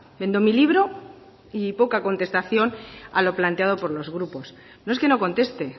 vendo mi libro y poca contestación a lo planteado por los grupos no es que no conteste